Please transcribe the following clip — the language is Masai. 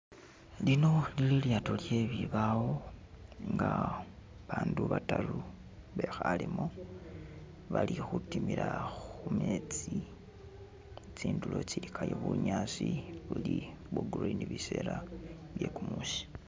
Lino lili ilyaato lye bibawo aga abandu bataru bekhalemu, bali khutimila khumetsi, tsindulo tsilikayo bunyaasi buli bwa green biseela bye kumuusi.